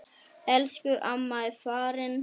Elsku amma er farin.